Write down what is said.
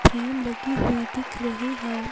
Frame लगी हुई दिख रही हैं।